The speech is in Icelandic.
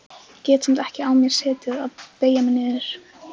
Get samt ekki á mér setið að beygja mig niður.